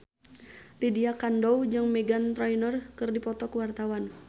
Lydia Kandou jeung Meghan Trainor keur dipoto ku wartawan